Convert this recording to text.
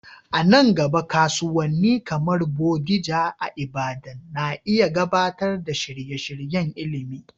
A nan gaba, kasuwanni kamar Bodija a Ibadan na iya gabatar da shirye-shiryen ilimi.